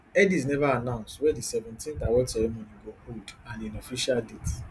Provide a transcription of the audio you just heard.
headies neva announce wia di seventeenth award ceremony go hold and di official date